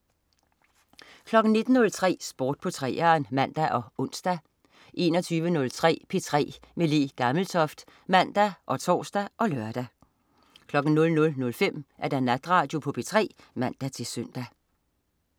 19.03 Sport på 3'eren (man og ons) 21.03 P3 med Le Gammeltoft (man og tors og lør) 00.05 Natradio på P3 (man-søn)